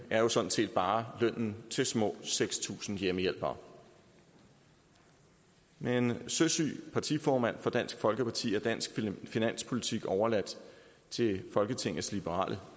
er sådan set bare lønnen til små seks tusind hjemmehjælpere med en søsyg partiformand for dansk folkeparti er dansk finanspolitik overladt til folketingets liberale